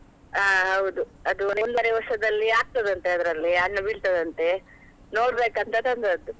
ಹಾ ಹೌದು ಅದು ಒಂದುವರೆ ವರ್ಷದಲ್ಲಿ ಆಗ್ತದೆ ಅಂತೆ ಅದ್ರಲ್ಲಿ ಹಣ್ಣು ಬಿಡ್ತದಂತೆ ನೋಡ್ಬೇಕ್ ಅಂತ ತಂದದ್ದು.